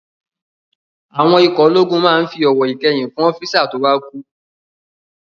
Àwọn ikọ̀ ológun máa n fi ọ̀wọ̀ ìkẹyìn fún ọ́físà tó bá kú